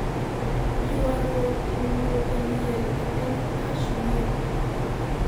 ywaruok owuok e liel e piny Kashmir